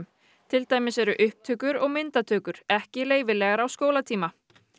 til dæmis eru upptökur og myndatökur ekki leyfilegar á skólatíma